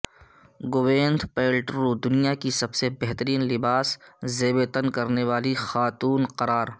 Gwyneth Paltrow دنیا کی سب سےبہترین لباس زیب تن کرنے والی خاتون قرار